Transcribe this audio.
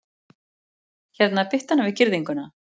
Hérna, bittu hana við girðinguna